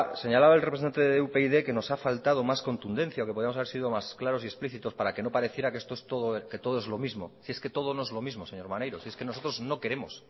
el representante de upyd que nos ha faltado más contundencia o que podíamos haber sido más claros y explícitos para que no pareciera que esto es todo es lo mismo si es que todo no es lo mismo señor maneiro si es que nosotros